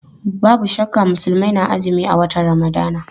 Babu shakka Musulmai na azumi a watan Ramadan.